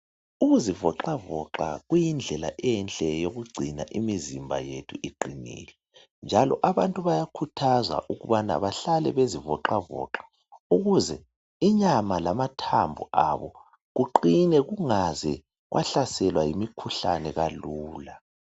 Ukuzivoxavoxa kuyindlela enhle yokugcina imizimba yethu iqinile. Njalo abantu bayakhuthazwa ukubana bahlale bezivoxavoxa ukuze inyama lamathambo abo kuqine kungaze kwahlaselwa yimikhuhlane kalula.